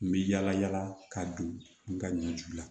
N bɛ yala yala ka don n ka ɲɔju la